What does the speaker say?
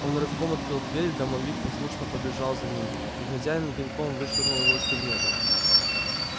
он рывком открыл дверь домовик послушно побежал за ним и хозяин пинком вышвырнул его из кабинета